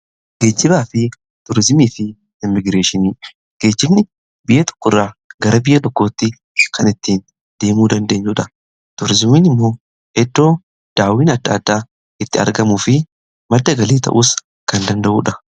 geejjibaa fi turizimii fi immigireeshi, geejjibni biyya tokko irraa gara biyya tokkootti kan ittiin deemuu dandeenyuudha tuurizimiin immoo eddoo daawwin adda addaa itti argamu fi madda galii ta'us kan danda'uudha.